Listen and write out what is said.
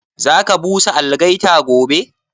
Za ka busa algaita gobe?